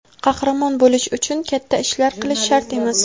Qahramon bo‘lish uchun katta ishlar qilish shart emas.